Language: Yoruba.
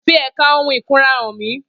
Fi ẹ̀ka ohun ìkunra hàn mí